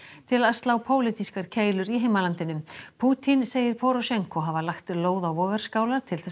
til að slá pólitískar keilur í heimalandinu Pútín segir hafa lagt lóð á vogarskálar til